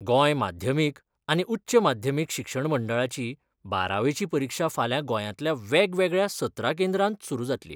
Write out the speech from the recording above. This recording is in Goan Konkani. गोंय माध्यमीक आनी उच्च माध्यमीक शिक्षण मंडळाची बारावेची परिक्षा फाल्यां गोंयांतल्या वेगवेगळ्या सतरा केंद्रांत सुरू जातली.